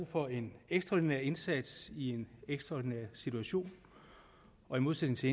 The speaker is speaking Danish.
for en ekstraordinær indsats i en ekstraordinær situation og i modsætning til